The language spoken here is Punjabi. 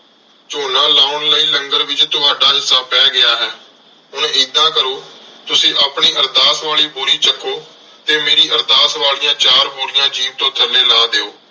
ਝੋਨਾ ਲਾਉਣ ਲਈ ਲੰਗਰ ਵਿਚ ਤੁਹਾਡਾ ਹਿੱਸਾ ਪੈ ਗਿਆ ਹੈ ਹੁਣ ਏਦਾਂ ਕਰੋ ਤੁਸੀਂ ਆਪਣੀ ਅਰਦਾਸ ਵਾਲੀ ਬੋਰੀ ਚੱਕੋ ਤੇ ਮੇਰੀ ਅਰਦਾਸ ਵਾਲੀਆਂ ਚਾਰ ਬੋਰੀਆਂ ਜੀਪ ਤੋਂ ਥੱਲੇ ਲਾਹ ਦਿਓ।